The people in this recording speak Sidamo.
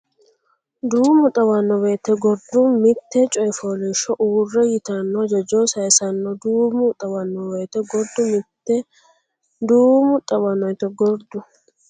Duumu xawanno woyte gurdu mitte coy fooliishsho uurre yitanno hajajo saysanno Duumu xawanno woyte gurdu mitte Duumu xawanno woyte gurdu.